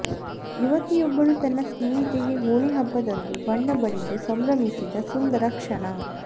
ಯುವತಿಯೊಬ್ಬಳು ತನ್ನ ಸ್ನೇಹಿತೆಗೆ ಹೋಳಿ ಹಬ್ಬದಂದು ಬಣ್ಣ ಬಳಿದು ಸಂಭ್ರಮಿಸಿದ ಸುಂದರ ಕ್ಷಣ